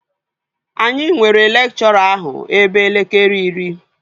Anyị nwere lekchọra ahụ ebe elekere iri